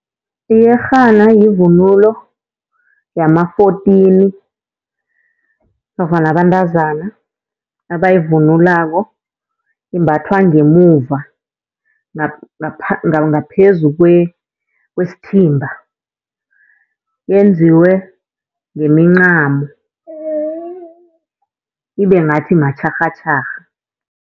Iyerhana yivunulo yama-fourteen nofana abantazana abayivunulako. Imbathwa ngemuva ngaphezu kwesithimba yenziwe ngemincamo, ibe ngathi matjharhatjharha.